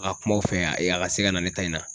A ka kumaw fɛ ayi a ka se ka na ne ta in na.